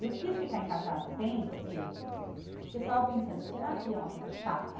Eu quis ficar em cartaz um tempo, assim, porque eu ficava pensando, será que é uma coisa chata?